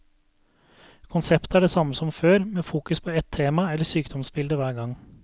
Konseptet er det samme som før, med fokus på ett tema eller sykdomsbilde hver gang.